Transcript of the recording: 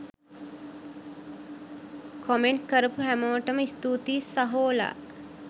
Comment කරපු හැමෝටම ස්තූතියි සහෝලා.